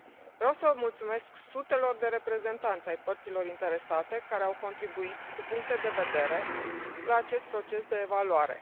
Vreau să mulțumesc sutelor de reprezentanți ai părților interesate care au contribuit cu puncte de vedere la acest proces de evaluare.